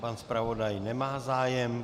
Pan zpravodaj nemá zájem.